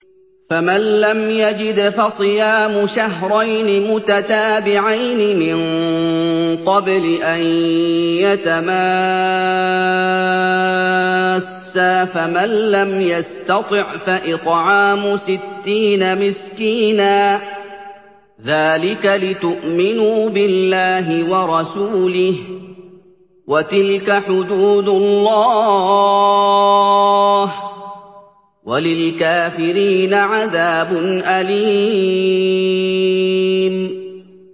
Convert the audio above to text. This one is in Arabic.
فَمَن لَّمْ يَجِدْ فَصِيَامُ شَهْرَيْنِ مُتَتَابِعَيْنِ مِن قَبْلِ أَن يَتَمَاسَّا ۖ فَمَن لَّمْ يَسْتَطِعْ فَإِطْعَامُ سِتِّينَ مِسْكِينًا ۚ ذَٰلِكَ لِتُؤْمِنُوا بِاللَّهِ وَرَسُولِهِ ۚ وَتِلْكَ حُدُودُ اللَّهِ ۗ وَلِلْكَافِرِينَ عَذَابٌ أَلِيمٌ